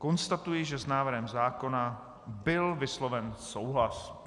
Konstatuji, že s návrhem zákona byl vysloven souhlas.